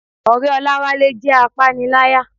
Ọ̀rẹ́ Olawale jẹ́ apániláyà.